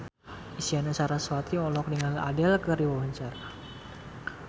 Isyana Sarasvati olohok ningali Adele keur diwawancara